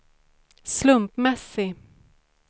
slumpmässig